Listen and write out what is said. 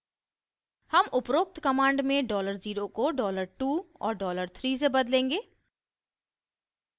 हम उपरोक्त command में $0 को $2 और $3 से बदलेंगे